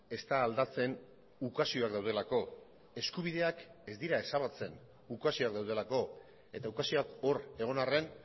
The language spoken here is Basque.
ez da aldatzen ukazioak daudelako eskubideak ez dira ezabatzen ukazioak daudelako eta ukazioak hor egon arren